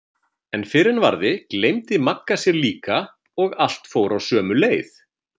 En fyrr en varði gleymdi Magga sér líka og allt fór á sömu leið.